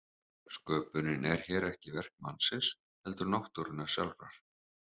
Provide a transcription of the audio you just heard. Sköpunin er hér ekki verk mannsins heldur náttúrunnar sjálfrar.